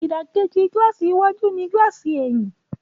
Ìdàkejì gílààsì iwájú ní gílààsì ẹ̀yìn